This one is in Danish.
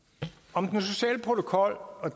om den sociale protokol og